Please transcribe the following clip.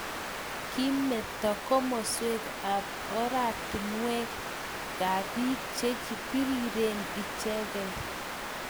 kimito komoswek ak ortinwekab biik che biriren ichekei